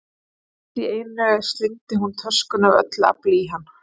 Allt í einu slengdi hún töskunni af öllu afli í hann.